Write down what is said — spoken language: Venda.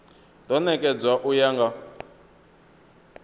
do nekedzwa u ya nga